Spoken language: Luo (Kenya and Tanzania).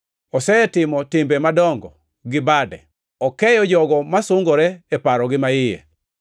Osetimo timbe madongo gi bade; okeyo jogo masungore e parogi maiye.